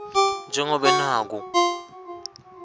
nje ngobe naku